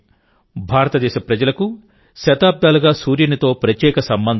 భారతదేశ ప్రజలకు శతాబ్దాలుగా సూర్యునితో ప్రత్యేక సంబంధం ఉంది